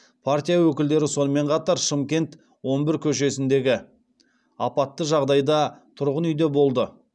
партия өкілдері сонымен қатар шымкент он бір көшесіндегі апатты жағдайда тұрғын үйде болды